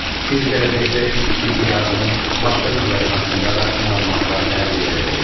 Siz gələcəkdə ilk tibbi yardımın başqa növləri haqqında da məlumatlar əldə edəcəksiniz.